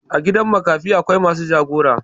A gidan makafi akwai masu jagora.